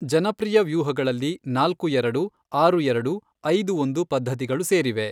ಜನಪ್ರಿಯ ವ್ಯೂಹಗಳಲ್ಲಿ ನಾಲ್ಕು ಎರಡು, ಆರು ಎರಡು , ಐದು ಒಂದು ಪದ್ಧತಿಗಳು ಸೇರಿವೆ.